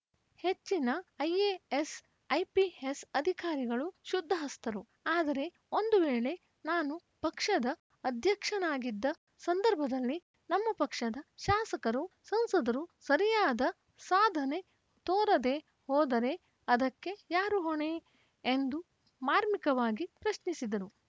ಹೆಚ್ಚಿನ IAS IPS ಅಧಿಕಾರಿಗಳು ಶುದ್ಧಹಸ್ತರು ಆದರೆ ಒಂದು ವೇಳೆ ನಾನು ಪಕ್ಷದ ಅಧ್ಯಕ್ಷನಾಗಿದ್ದ ಸಂದರ್ಭದಲ್ಲಿ ನಮ್ಮ ಪಕ್ಷದ ಶಾಸಕರು ಸಂಸದರು ಸರಿಯಾದ ಸಾಧನೆ ತೋರದೇ ಹೋದರೆ ಅದಕ್ಕೆ ಯಾರು ಹೊಣೆ ಎಂದು ಮಾರ್ಮಿಕವಾಗಿ ಪ್ರಶ್ನಿಸಿದರು